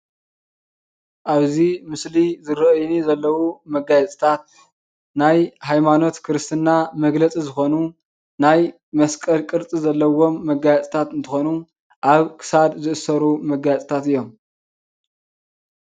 ኣብዚ ምስሊ ዝርአዩኒ ዘለዉ መጋየፅታት ናይ ሃይማኖት ክርስትና መግለፂ ዝኾኑ ናይ መስቀል ቅርፂ ዘለዎም መጋየፅታት እንትኾኑ ኣብ ክሳድ ዝእሰሩ መጋየፅታት እዮም፡፡